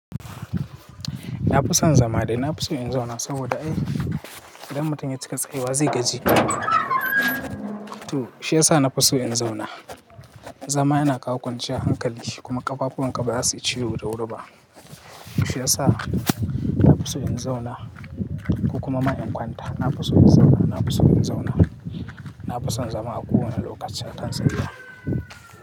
Na fi son zama da na fi so in zauna saboda ai idan mutum ya cika tsayi wa zai gaji. To shi ya sa na fi so in zauna. Zama yana kawo kwanciya hankali kuma ƙafafwanka baza suyi ciwo da wuri ba. Shi ya sa nafi so in zauna ko kuma ma in kwanta. Na fi so in zauna, na fi so in zauna. Na fi son zama a ko wane lokaci akan tsayuwa.